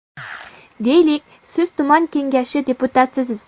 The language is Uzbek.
Deylik, siz tuman kengashi deputatisiz.